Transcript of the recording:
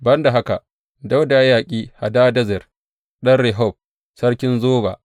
Ban da haka, Dawuda ya yaƙi Hadadezer ɗan Rehob, sarkin Zoba.